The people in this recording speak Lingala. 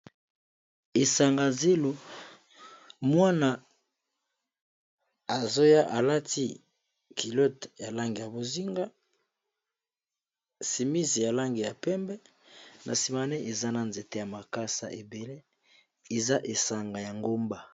Esanga zelo mwana azoya alati kilote ya langi ya bozinga simisi ya langi ya pembe na simane eza na nzete ya makasa ebele eza esanga ya ngomba.